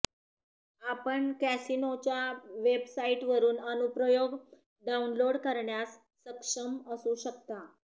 आपण कॅसिनोच्या वेबसाइटवरून अनुप्रयोग डाउनलोड करण्यास सक्षम असू शकता